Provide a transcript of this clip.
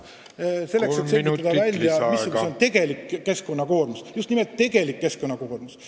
... siis tuleb kindlaks teha, missugune on tegelik keskkonnakoormus – just nimelt tegelik keskkonnakoormus.